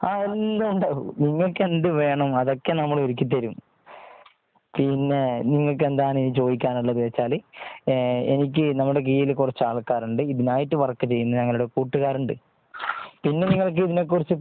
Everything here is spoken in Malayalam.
ആ എല്ലാം ഉണ്ടാകും നിങ്ങൾക്ക് എന്ത് വേണം അതൊക്കെ നമ്മൾഒരുക്കി തരും പിന്നെ നിങ്ങൾക്ക് എന്താണ് ഇനി ചോദിക്കാനുള്ളതെന്ന് വെച്ചാൽ എനിക്ക്.നമ്മുടെ കയ്യിൽ കുറച്ച് ആൾക്കാർ ഉണ്ട് ഇതിനായിട്ട് വർക്ക് ചെയ്യുന്ന ഞങ്ങളുടെ കൂട്ടുകാർ ഉണ്ട്. പിന്നെ നിങ്ങൾക്ക് ഇതിനെക്കുറിച്ച്